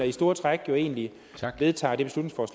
i store træk jo egentlig vedtager